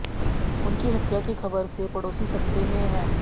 उनकी हत्या की खबर से पड़ोसी सकते में हैं